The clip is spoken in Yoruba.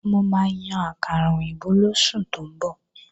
Mo máa yan àkàrà òyìnbó lóṣù tó ń bọ̀